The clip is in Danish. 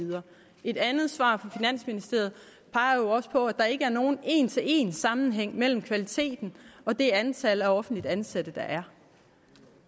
videre et andet svar fra finansministeriet peger jo også på at der ikke er nogen én til én sammenhæng mellem kvaliteten og det antal af offentligt ansatte der er